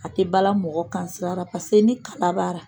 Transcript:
A tɛ bala mɔgɔ kan sira la paseke ni kala b'a la